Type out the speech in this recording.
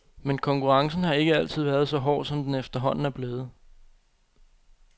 Men konkurrencen har ikke altid været så hård, som den efterhånden er blevet.